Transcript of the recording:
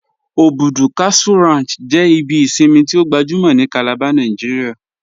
Obùdú Cattle Ranch jẹ ibi ìṣinmi tí o gbàjúmọ̀ ni Calabar Nàìjíríà